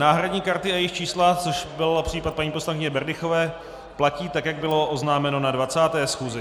Náhradní karty a jejich čísla, což byl případ paní poslankyně Berdychové, platí tak, jak bylo oznámeno na 20. schůzi.